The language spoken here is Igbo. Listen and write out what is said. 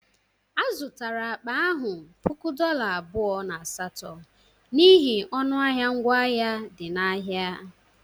A zụtara akpa ahụ puku dolla abụọ na asatọ n'ihi ọnụ ahịa ngwa ahịa dị n'ahịa.